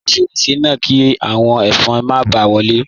Pa fẹ́rẹ̀sẹ̀ náà, kí awọn ẹfọn má bá wọlé.